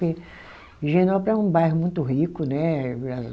Porque Higienópolis é um bairro muito rico, né?